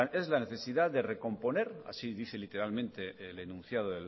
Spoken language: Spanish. es la necesidad de recomponer así dice literalmente el enunciado